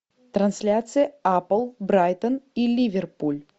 трансляция апл брайтон и ливерпуль